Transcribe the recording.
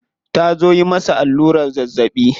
Ta zo yi masa allurar zazzabi.